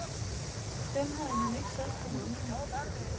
Dem havde han ikke selv for mange af.